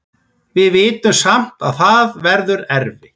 Við vitum samt að það verður erfitt.